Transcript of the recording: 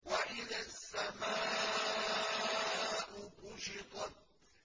وَإِذَا السَّمَاءُ كُشِطَتْ